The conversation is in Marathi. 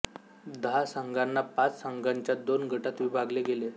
दहा संघांना पाच संघांच्या दोन गटात विभागले गेले